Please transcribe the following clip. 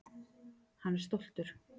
Hann er stoltur.